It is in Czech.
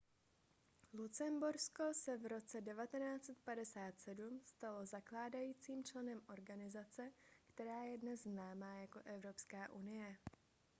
lucembursko se v roce 1957 stalo zakládajícím členem organizace která je dnes známá jako evropská unie